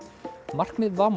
markmið